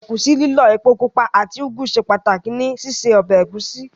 Ẹ̀gúsí lílọ̀, epo pupa àti úgú ṣe pàtàkì ní síse ọbẹ̀ ẹ̀gúsí.